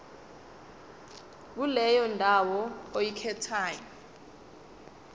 kuleyo ndawo oyikhethayo